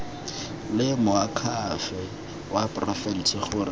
le moakhaefe wa porofense gore